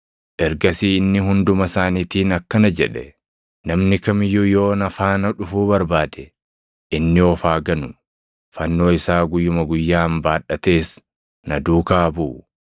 Ergasii inni hunduma isaaniitiin akkana jedhe; “Namni kam iyyuu yoo na faana dhufuu barbaade, inni of haa ganu; fannoo isaa guyyuma guyyaan baadhatees na duukaa haa buʼu.